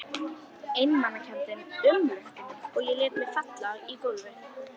Einmanakenndin umlukti mig og ég lét mig falla í gólfið.